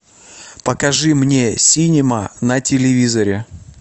покажи мне синема на телевизоре